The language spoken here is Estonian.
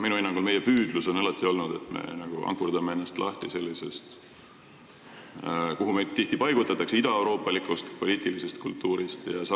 Minu hinnangul on meie püüdlus alati olnud, et me ankurdame ennast lahti sellisest idaeuroopalikust poliitilisest kultuurist, kuhu meid tihti paigutatakse.